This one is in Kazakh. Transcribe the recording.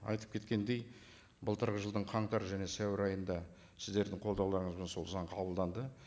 айтып кеткендей былтырғы жылдың қаңтар және сәуір айында сіздердің қолдауларыңызбен сол заң қабылданды